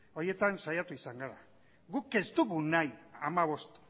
horietan saiatu izan gara guk ez dugu nahi hamabost